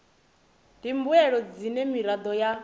ndi mbuelo dzine miraḓo ya